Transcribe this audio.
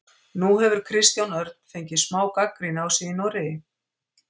Nú hefur Kristján Örn fengið smá gagnrýni á sig í Noregi?